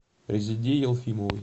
резеде елфимовой